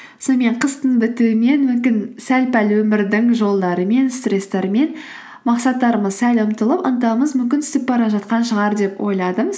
сонымен қыстың бітуімен мүмкін сәл пәл өмірдің жолдарымен стресстарымен мақсаттарымыз сәл ұмытылып ынтамыз мүмкін түсіп бара жатқан шығар деп ойладым